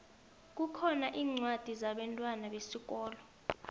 kukhona incwadi zabentwana besikolo